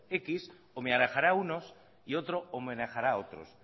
décimo homenajeará a unos y otro homenajeará otros